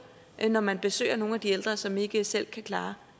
det når man besøger nogle af de ældre som ikke selv kan klare